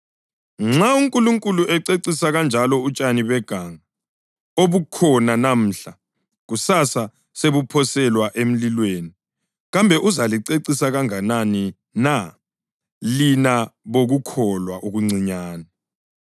Nxa uNkulunkulu ececisa kanjalo utshani beganga, obukhona namuhla, kusasa sebuphoselwa emlilweni, kambe uzalicecisa kanganani na, lina bokukholwa okuncinyane!